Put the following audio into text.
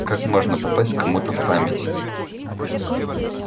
как можно попасть к кому-то в память